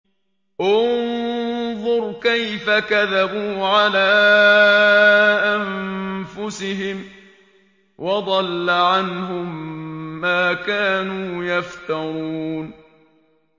انظُرْ كَيْفَ كَذَبُوا عَلَىٰ أَنفُسِهِمْ ۚ وَضَلَّ عَنْهُم مَّا كَانُوا يَفْتَرُونَ